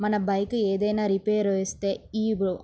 మన బైక్ ఏదియనా రిపేర్ వస్తే ఈ --